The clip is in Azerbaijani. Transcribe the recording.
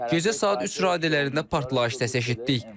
Gecə saat 3 radələrində partlayış səsi eşitdik.